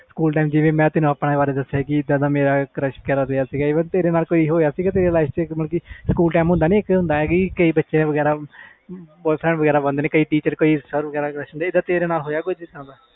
school ਮੈਂ ਤੈਨੂੰ ਦਸਿਆ ਸੀ ਕਿ ਮੇਰਾ crush ਸੀ ਤੇਰੇ ਨਾਲ ਹੋਇਆ ਸਕੂਲ ਵਿਚ ਇਸ ਤਰਾਂ ਦਾ ਜਿਵੇ boyfriend ਵਗੈਰਾ ਬੰਦੇ ਆ